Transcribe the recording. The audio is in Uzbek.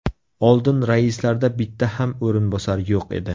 Oldin raislarda bitta ham o‘rinbosar yo‘q edi.